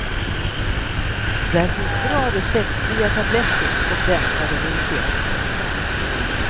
Där finns bra receptfria tabletter som dämpar den irriterande hostan.